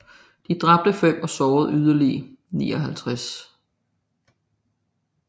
De dræbte fem og sårede yderligere 59